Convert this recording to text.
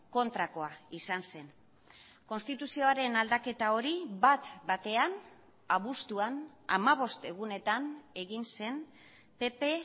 kontrakoa izan zen konstituzioaren aldaketa hori bat batean abuztuan hamabost egunetan egin zen pp